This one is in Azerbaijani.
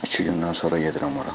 İki gündən sonra gedirəm ora.